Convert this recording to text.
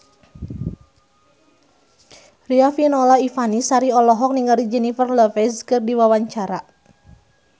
Riafinola Ifani Sari olohok ningali Jennifer Lopez keur diwawancara